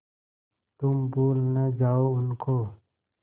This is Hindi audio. तुम भूल न जाओ उनको